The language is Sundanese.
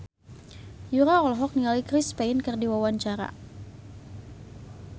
Yura olohok ningali Chris Pane keur diwawancara